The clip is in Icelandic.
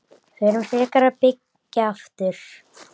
Förum frekar að byggja aftur.